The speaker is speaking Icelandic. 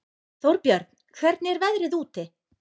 Þórbjörn, hvernig er veðrið úti?